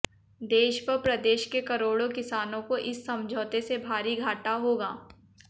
देश व प्रदेश के करोड़ों किसानों को इस समझौते से भारी घाटा होगा